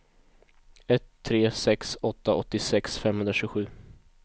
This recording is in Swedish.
ett tre sex åtta åttiosex femhundratjugosju